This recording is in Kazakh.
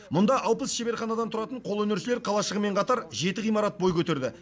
мұнда алпыс шеберханадан тұратын қолөнершілер қалашығымен қатар жеті ғимарат бой көтерді